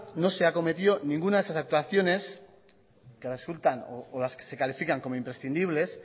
no se acometió ninguna de esas actuaciones que resultan o las que se califican como imprescindibles